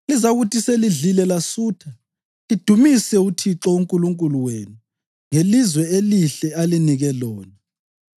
Lizakuthi selidlile lasutha, lidumise uThixo uNkulunkulu wenu ngelizwe elihle alinike lona.